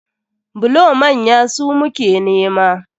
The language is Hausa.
Bulo manya su muke nema.